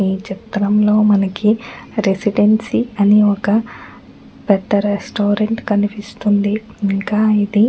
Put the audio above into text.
ఈ చిత్రంలో మనకి రెసిడెన్సి అనే ఒక పెద్ద రెస్టురెంట్ కనిపిస్తుంది. ఇంకా ఇది --